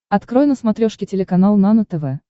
открой на смотрешке телеканал нано тв